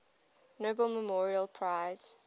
nobel memorial prize